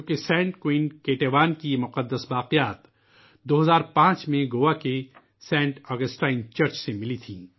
Saint queen Ketevan کے مقدس باقیات 2005 میں گوا میں واقع سینٹ اگسٹائن چرچ میں پائے گئے تھے